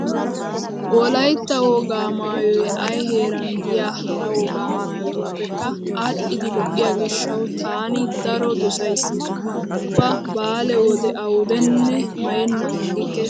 Wolaytta wogaa maayoy ay heeran diya hara wogaa maayotuppekka aadhdhidi lo'iyo gishshawu taani daro dosays. Ubba baale wode awudenne maayennan aggikke.